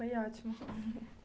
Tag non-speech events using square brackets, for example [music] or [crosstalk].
Foi ótimo [laughs]